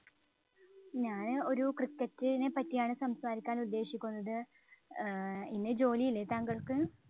ഞാന് ഒരു cricket ഇനെ പറ്റിയാണ് സംസാരിക്കാന്‍ ഉദ്ദേശിക്കുന്നത്. ഏർ ഇന്ന് ജോലിയില്ലേ താങ്കള്‍ക്ക്?